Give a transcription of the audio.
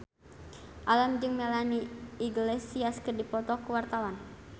Alam jeung Melanie Iglesias keur dipoto ku wartawan